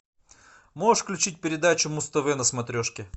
можешь включить передачу муз тв на смотрешке